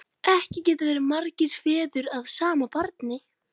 Ekki geta verið margir feður að sama barni!